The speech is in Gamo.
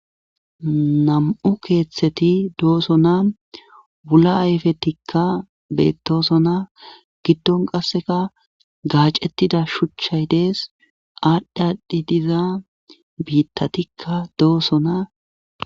Nam'u keeththeti dooso na wula ayfetikka bettoso na giddon qasseka gaacettida shuchchay dees aadhdhi aadhdhi diza biittatikka dooso na.